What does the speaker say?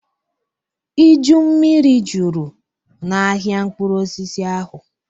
Iju mmiri juru n'ahịa mkpụrụ osisi ahụ.